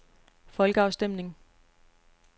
folkeafstemning